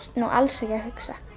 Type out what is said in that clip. nú alls ekki að hugsa